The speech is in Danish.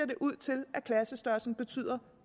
det ud til at klassestørrelsen betyder